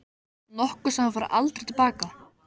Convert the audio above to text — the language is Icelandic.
Nokkuð sem þú færð aldrei til baka.